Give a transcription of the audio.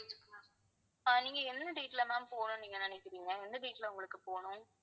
ஆஹ் நீங்க என்ன date ல ma'am போணும்னு நீங்க நினைக்கிறீங்க எந்த date ல உங்களுக்கு போனும்